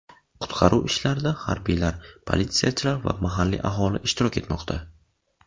Qutqaruv ishlarida harbiylar, politsiyachilar va mahalliy aholi ishtirok etmoqda.